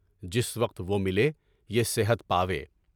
جس وقت وہ ملے، یہ صحت پاویں ہے۔